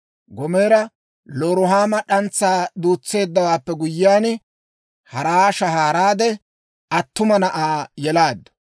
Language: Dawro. Gomeera Loruhaamo d'antsaa duutseeddawaappe guyyiyaan, hara shahaaraade, attuma na'aa yelaaddu.